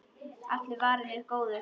Allur er varinn góður.